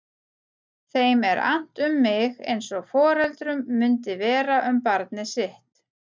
Þeim er annt um mig eins og foreldrum mundi vera um barnið sitt.